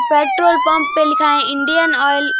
Petrol pump पे लिखा है इंडियन आयल ।